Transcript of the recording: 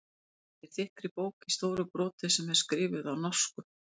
Hann flettir þykkri bók í stóru broti sem er skrifuð á norsku.